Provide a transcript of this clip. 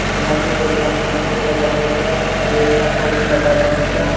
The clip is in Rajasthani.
जिम सु एक ने कुर्तो पेहेन रखो छ और एक ने टोपी लगा मेली छ।